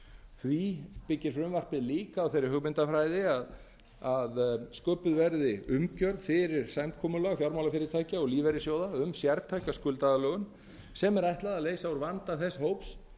því byggir frumvarpið líka á þeirri hugmyndafræði að sköpuð verði umgjörð fyrir samkomulag fjármálafyrirtækja og lífeyrissjóða um sértæka skuldaaðlögun sem er ætlað að leysa úr vanda þess fólks